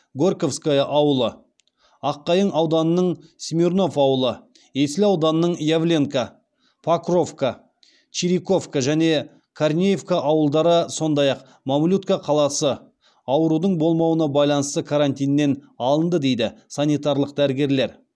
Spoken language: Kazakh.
горьковское ауылы аққайың ауданының смирнов ауылы есіл ауданының явленка покровка чириковка және корнеевка ауылдары сондай ақ мамлютка қаласы аурудың болмауына байланысты карантиннен алынды дейді санитарлық дәрігерлер